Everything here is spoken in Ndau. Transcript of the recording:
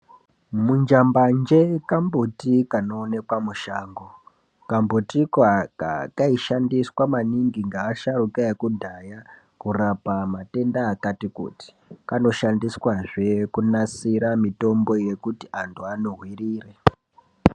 Munjambanje kambuti kanoonekwa mushango. Kambuti koaka kanoshandiswa maningi ngeasharuka ekudhaya kurapa matenda akati kuti. Kanoshandiswazve kunasira mitombo yekuti antu anuvirire.